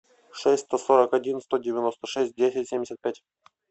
шесть сто сорок один сто девяносто шесть десять семьдесят пять